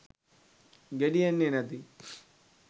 ගෙඩි එන්නෙ නැති.